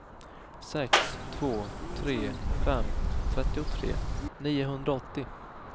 sex två tre fem trettiotre niohundraåttio